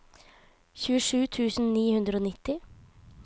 tjuesju tusen ni hundre og nitti